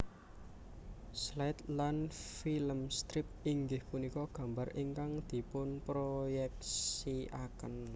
Slide lan filmstrip inggih punika gambar ingkang dipunproyeksiaken